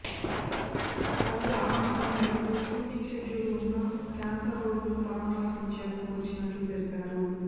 తల్లి ఆకాంక్ష మేరకు షూటింగ్ షెడ్యూల్ ఉన్నా కేన్సర్ రోగులను పరామర్శించేందుకు వచ్చినట్లు తెలిపారు